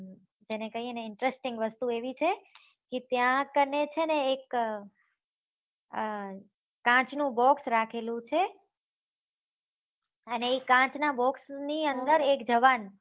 તેને કહીએ ને interesting વસ્તુ એવી છે ને કી ત્યા કાણે છે ને એક અર કાચ નું box રાખેલું છે અને એ કાચ ના box ની અંદર એક જવાન